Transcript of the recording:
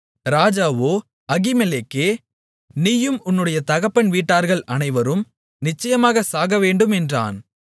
ராஜாவோ அகிமெலேக்கே நீயும் உன்னுடைய தகப்பன் வீட்டார்கள் அனைவரும் நிச்சயமாக சாகவேண்டும் என்றான்